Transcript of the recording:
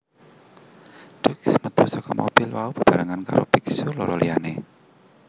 Duc métu saka mobil mau bebarengan karo biksu loro liyané